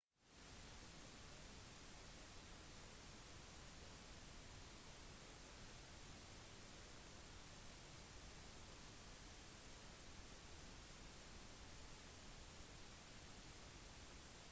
metroplus er mer behagelig og mindre folksomt det er litt mer kostbart men likevel rimeligere enn vanlige metrobilletter i europa